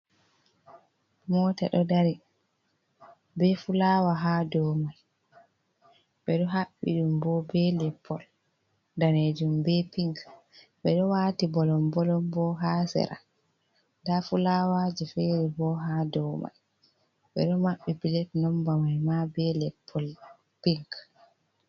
Mota ɗo dari be fulawa ha domai be do habbi ɗum bo be leppol danejum be pinc be ɗo wati bolom bolon bo ha sera da fulawaje fere bo ha domai ɓe ɗo mabbi pilet nombamai ma be lat pol pink.